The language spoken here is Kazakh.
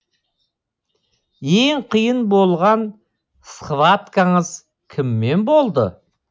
ең қиын болған схваткаңыз кіммен болды